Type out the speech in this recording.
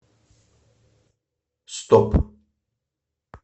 стоп